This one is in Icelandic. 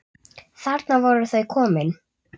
Þarna voru þau komin.